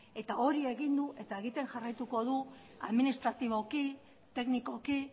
eta hori egin du eta egiten jarraituko du administratiboki teknikoki